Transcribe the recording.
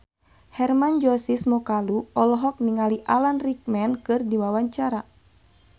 Hermann Josis Mokalu olohok ningali Alan Rickman keur diwawancara